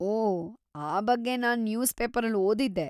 ಓ, ಆ ಬಗ್ಗೆ ನಾನ್‌ ನ್ಯೂಸ್‌ ಪೇಪರಲ್ ಓದಿದ್ದೆ.